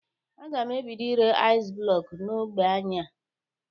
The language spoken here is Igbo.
Aga m ebido ire aịz blọkụ n'ogbe anyị a.